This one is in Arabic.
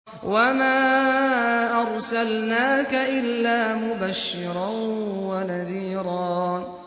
وَمَا أَرْسَلْنَاكَ إِلَّا مُبَشِّرًا وَنَذِيرًا